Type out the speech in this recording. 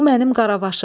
Bu mənim Qaravaşımdır.